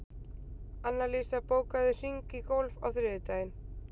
Annalísa, bókaðu hring í golf á þriðjudaginn.